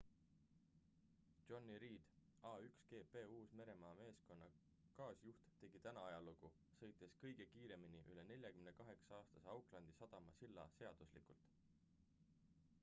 jonny reid a1gp uus-meremaa meeskonna kaasjuht tegi täna ajalugu sõites kõige kiiremini üle 48-aastase aucklandi sadama silla seaduslikult